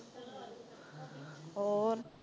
ਹੋਰ।